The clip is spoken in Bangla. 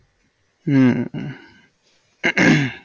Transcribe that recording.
হম